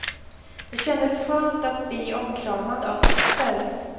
Det kändes skönt att bi omkramad av syster.